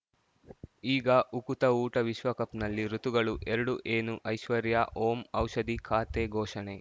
ಈಗ ಉಕುತ ಊಟ ವಿಶ್ವಕಪ್‌ನಲ್ಲಿ ಋತುಗಳು ಎರಡು ಏನು ಐಶ್ವರ್ಯಾ ಓಂ ಔಷಧಿ ಖಾತೆ ಘೋಷಣೆ